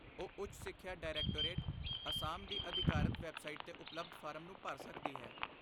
ਉਹ ਉੱਚ ਸਿੱਖਿਆ ਡਾਇਰੈਕਟੋਰੇਟ, ਅਸਾਮ ਦੀ ਅਧਿਕਾਰਤ ਵੈੱਬਸਾਈਟ 'ਤੇ ਉਪਲਬਧ ਫਾਰਮ ਨੂੰ ਭਰ ਸਕਦੀ ਹੈ।